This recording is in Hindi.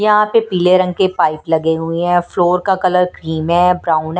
यहाँ पे पीले रंग के पाइप लगे हुए हैं और फ्लोर का कलर क्रीम है ब्राउन है।